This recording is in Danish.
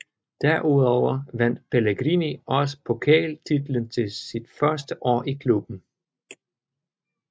Derudover vandt Pellegrini også Pokal titlen sit første år i klubben